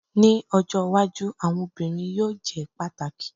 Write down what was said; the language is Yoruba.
Ni ojo iwaju awọn obirin yoo jẹ pataki